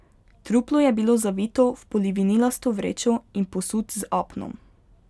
Truplo je bilo zavito v polivinilasto vrečo in posut z apnom.